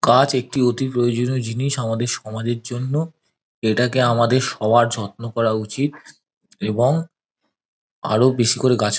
গাছ একটি অতি প্রয়োজনীয় জিনিস আমাদের সমাজের জন্য। এটাকে আমাদের সবার যত্ন করা উচিত। এবং আরো বেশি করে গাছ--